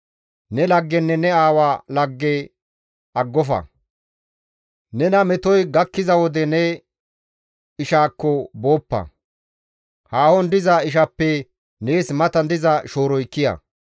Ne laggenne ne aawa lagge aggofa; nena metoy gakkiza wode ne ishaakko booppa. Haahon diza ishappe nees matan diza shooroy kiya.